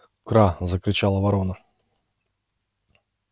кра закричала ворона